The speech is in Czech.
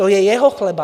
To je jeho chleba.